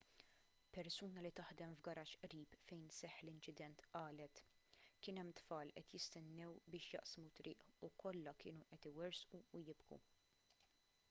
persuna li taħdem f'garaxx qrib fejn seħħ l-inċident qalet kien hemm tfal qed jistennew biex jaqsmu t-triq u kollha kienu qed iwerżqu u jibku